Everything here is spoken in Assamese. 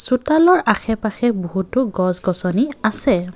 চোতালৰ আশে পাশে বহুতো গছ গছনি আছে।